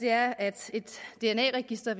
er at et dna register